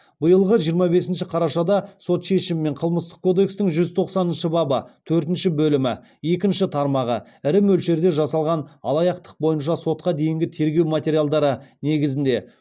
биылғы жиырма бесінші қарашада сот шешімімен қылмыстық кодекстің жүз тоқсаныншы бабы төртінші бөлімі екінші тармағы бойынша сотқа дейінгі тергеу материалдары негізінде